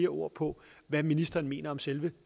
ord på hvad ministeren mener om selve